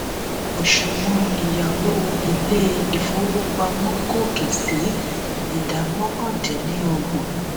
òṣùwọ̀n ìyáwó ilé ìfowópamọ́ gòkè sí ìdá mọ́kàn dín ní ọgbọ̀n.